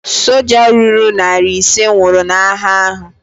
Soja ruru narị ise nwụrụ n'agha ahu